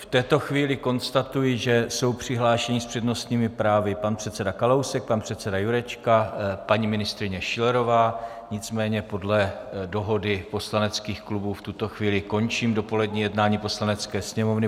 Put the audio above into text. V této chvíli konstatuji, že jsou přihlášeni s přednostními právy pan předseda Kalousek, pan předseda Jurečka, paní ministryně Schillerová, nicméně podle dohody poslaneckých klubů v tuto chvíli končím dopolední jednání Poslanecké sněmovny.